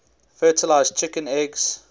fertilized chicken eggs